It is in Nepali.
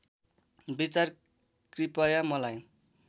विचार कृपया मलाई